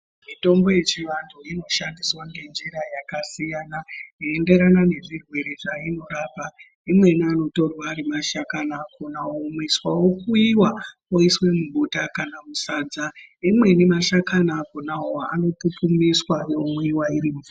Mitombo yechiantu inoshandiswa nenjira yakasiyana yeienderana nezvirwere zvavanorapa imweni kutora Ari mashakani akona wonanikwisa okuyuwa uri mubota kananmasadza umweni mashakani nawo anotutumiswa omwiwa.